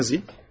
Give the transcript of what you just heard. Nə yazayım?